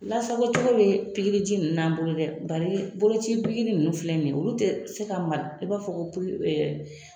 Lasago cogo be pikiiri ji nunnu na an bolo dɛ . Bari boloci pikiri nunnu filɛ nin ye olu tɛ se ka mara i b'a fɔ ko